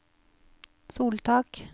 soltak